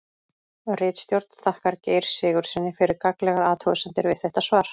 Ritstjórn þakkar Geir Sigurðssyni fyrir gagnlegar athugasemdir við þetta svar.